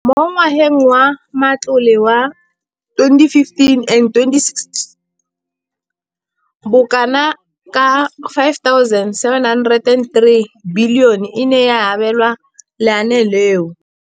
Mo ngwageng wa matlole wa 2015 le 2016, bokanaka R5 703 bilione e ne ya abelwa lenaane leno.